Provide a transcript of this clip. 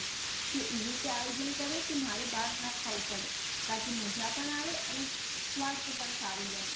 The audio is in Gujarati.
કે એવી રીતે આયોજન કરે કે મારે બહાર ખાવું ન પડે તાકી માજા પણ આવે અને સ્વાસ્થ્ય પણ સારું રહે